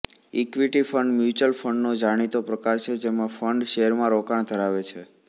equity fund mutual ફંડનો જાણીતો પ્રકાર છે જેમાં ફંડ શેરમાં રોકાણ ધરાવે છે